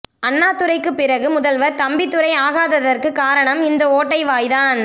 அண்ணாதுரைக்கு பிறகு முதல்வர் தம்பிதுரை ஆகாததற்கு காரணம் இந்த ஓட்டை வாய்தான்